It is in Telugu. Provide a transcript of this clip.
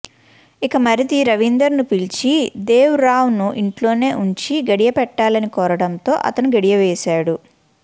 ఇక మరిది రవీందర్ ను పిలిచి దేవరావ్ ను ఇంట్లోనే ఉంచి గడియపెట్టాలని కోరడంతో అతడు గడియవేశాడు